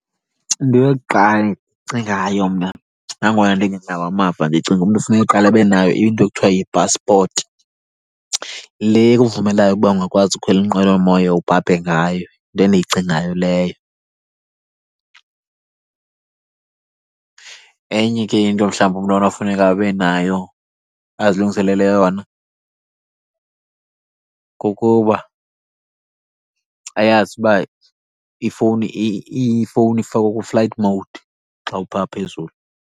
Into yokuqala endiyicingayo mna nangona ndingenawo amava, ndicinga umntu kufuneka aqale abe nayo into ekuthiwa yipaspoti le ikuvumelayo ukuba ungakwazi ukhwela inqwelomoya ubhabhe ngayo. Yinto endiyicingayo leyo. Enye ke into mhlawumbi umntu onofuneka abe nayo, azilungiselele yona kukuba ayazi uba ifowuni , ifowuni ifakwe ku-flight mode xa upha phezulu.